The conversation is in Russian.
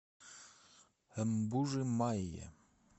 мбужи майи